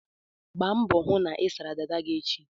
Gba mbọ hụ na ị sara dada gị echi!